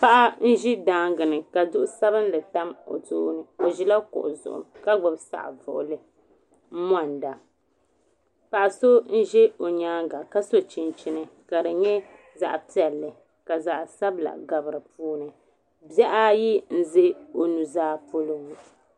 Paɣa n zi dangi ni ka duɣu sabinli tam o tooni o zi la kuɣu ka gbubi saɣivuɣuli n monida paɣa so n za o yɛanga ka so chinchini ka di yɛ zaɣi piɛlli ka zaɣi sabila gabi di puuni bihi ayi n za o nu zaa polo ŋɔ.